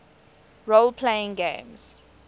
role playing games